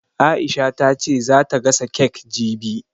Aisha ta ce za ta gasa kek jibi